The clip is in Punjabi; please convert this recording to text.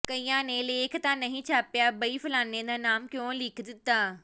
ਕਈਆਂ ਨੇ ਲੇਖ ਤਾਂ ਨਹੀਂ ਛਾਪਿਆ ਬਈ ਫਲਾਣੇ ਦਾ ਨਾਮ ਕਿਉਂ ਲਿਖ ਦਿੱਤਾ